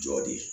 Jɔ de